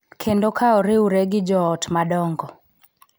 Kendo ka oriwre gi joot madongo.